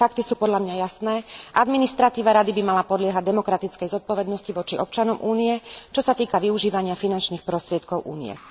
Fakty sú podľa mňa jasné administratíva Rady by mala podliehať demokratickej zodpovednosti voči občanom Únie, čo sa týka využívania finančných prostriedkov Únie.